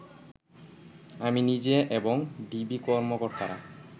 আমি নিজে এবং ডিবি কর্মকর্তারা